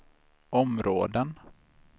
områden